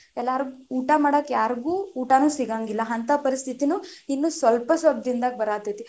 ಎಲ್ಲರು ಊಟಾ ಮಾಡಾಕ ಯಾರಗೂ ಊಟಾನು ಸಿಗಂಗಿಲ್ಲಾ, ಅಂತಾ ಪರಿಸ್ತಿತಿನು ಇನ್ನು ಸ್ವಲ್ಪ ಸ್ವಲ್ಪ ದಿನದಾಗ ಬರಾತೈತಿ.